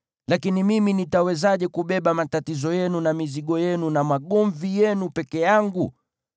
Lakini mimi nitawezaje kubeba matatizo yenu, na mizigo yenu, na magomvi yenu peke yangu?